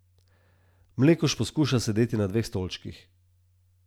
Mlekuž poskuša sedeti na dveh stolčkih.